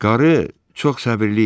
Qarı çox səbirli imiş.